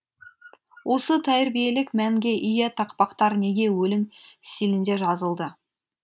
осы тәрбиелік мәнге ие тақпақтар неге өлең стилінде жазылды